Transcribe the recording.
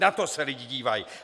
Na to se lidé dívají.